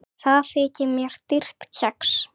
Það þykir mér dýrt kex.